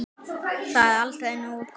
Það er aldrei nógu gott.